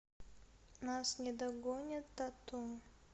нас не догонят тату